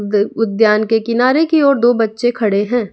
उद्यान के किनारे की ओर दो बच्चे खड़े हैं।